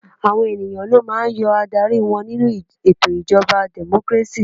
Àwọn ènìyàn ló máà ń yan aládarí wọn nínú ètò ìjọba democracy.